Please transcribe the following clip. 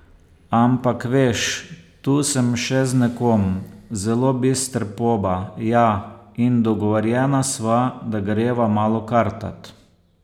Ampak, veš, tu sem še z nekom, zelo bister poba, ja, in dogovorjena sva, da greva malo kartat.